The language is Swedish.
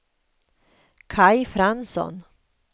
Kaj Fransson